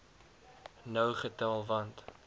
nou getel want